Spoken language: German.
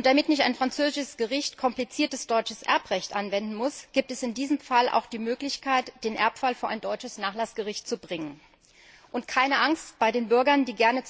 Damit nicht ein französisches Gericht kompliziertes deutsches Erbrecht anwenden muss, gibt es in diesem Fall auch die Möglichkeit, den Erbfall vor ein deutsches Nachlassgericht zu bringen, und auch die Bürger, die gerne